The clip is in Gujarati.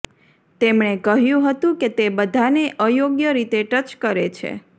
તેમણે કહ્યું હતું કે તે બધાને અયોગ્ય રીતે ટચ કરે છે